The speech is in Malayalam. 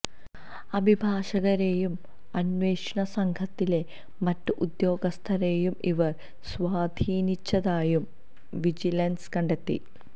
അഭിഭാഷകരെയും അന്വേഷണ സംഘത്തിലെ മറ്റ് ഉദ്യോഗസ്ഥരെയും ഇവർ സ്വാധീനിച്ചതായും വിജിലൻസ് കണ്ടെത്തി